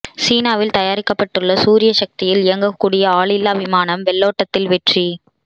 சீனாவில் தயாரிக்கப்பட்டுள்ள சூரிய சக்தியில் இயங்கக்கூடிய ஆளில்லா விமானம் வெள்ளோட்டத்தில் வெற்றி